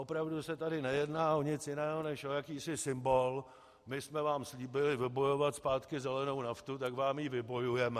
Opravdu se tady nejedná o nic jiného než o jakýsi symbol: my jsme vám slíbili vybojovat zpátky zelenou naftu, tak vám ji vybojujeme.